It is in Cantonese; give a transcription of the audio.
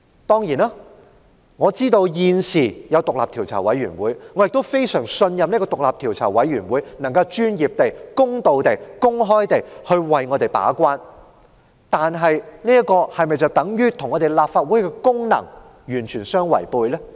當然，我知道獨立調查委員會已成立，亦非常信任獨立調查委員會有能力專業、公道、公開地為我們把關，但這是否等於與立法會行使其功能完全違背呢？